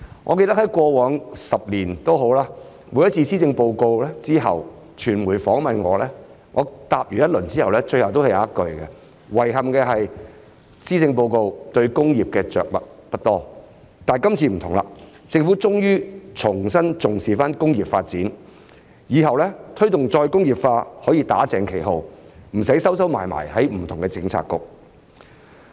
我記得過往10年，每次我在施政報告公布後接受傳媒訪問時，我的回答最後總有一句："遺憾的是，施政報告對工業的着墨不多"；但今次不同，政府終於重新重視工業發展，以後推動再工業化可以"打正旗號"，不用再"收收埋埋"在不同的政策局。